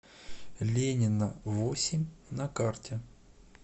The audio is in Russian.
ленина восемь на карте